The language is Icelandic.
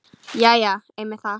Jæja já, einmitt það.